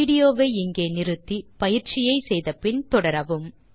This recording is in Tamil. வீடியோ வை இங்கே நிறுத்தி பயிற்சியை செய்து முடித்து பின் தொடரவும்